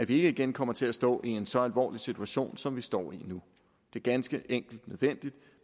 igen kommer til at stå i en så alvorlig situation som vi står i nu det er ganske enkelt nødvendigt